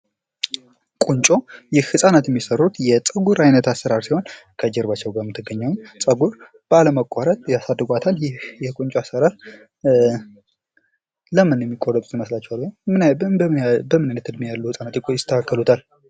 ቁንጮ ህፃናት የሚሰሩት የፀጉር አይነት አሰራር ሲሆን ከጀርባቸዉ ጋር የምትገኘዉን ፀጉር ቤለመቆረጥ ያሳድጓታል። ይህ የቁንጮ አሰራር ለምን የሚቆረጡት ይመስላችኋል? ወይም በምን አይነት እድሜ ያሉ ህፃናት ይስተካከሉታል?